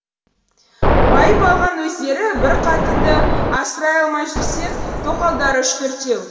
байып алған өздері бір қатынды асырай алмай жүрсек тоқалдары үш төртеу